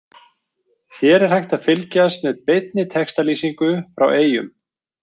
Hér er hægt að fylgjast með beinni textalýsingu frá Eyjum.